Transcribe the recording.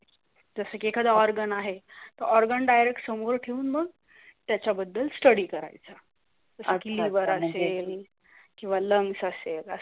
जस की एकदा organ आहे, organ direct समोर डीवून मग तयाचा बद्दल स्टडी करयेचा. किव्‍हा लँग्स आसेल